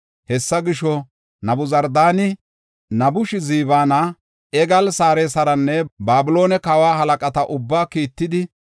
Hessa gisho, Nabuzardaani, Nabushazbaana, Ergaal-Sarasiranne Babiloone kawa halaqata ubbaa kiittidi,